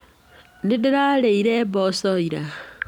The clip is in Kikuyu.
Nĩndĩrarĩire mboco ira.